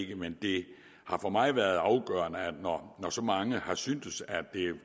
men det har for mig været afgørende at når så mange har syntes at